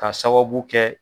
Ka sababu kɛ